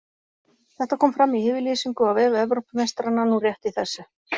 Þetta kom fram í yfirlýsingu á vef Evrópumeistaranna nú rétt í þessu.